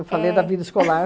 Eu falei da vida escolar.